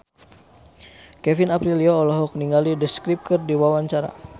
Kevin Aprilio olohok ningali The Script keur diwawancara